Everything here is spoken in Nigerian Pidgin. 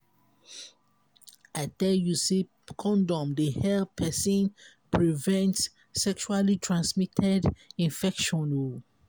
i tell you sey condom dey help pesin present sexually transmitted infection.